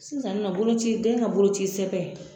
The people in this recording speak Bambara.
Sisan nɔ boloci den ka bolocisɛbɛn